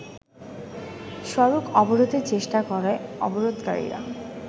সড়ক অবরোধের চেষ্টা করে অবরোধকারীর